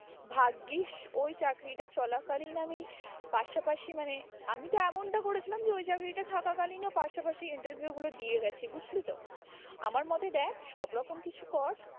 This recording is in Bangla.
ভাগ্যিস ওই চাকরিটা চলা কালীন আমি পাশা পাশি মানে, আমি তো এমনটা করেছিলাম যে ওই চাকরিটা থাকা কালীন ওর পাশা পাশি interview গুলো দিয়ে গেছি বুঝলি তো আমার মতে দেখ সব রকম কিছু কর